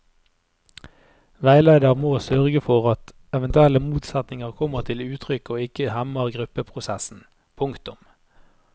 Veileder må sørge for at eventuelle motsetninger kommer til uttrykk og ikke hemmer gruppeprosessen. punktum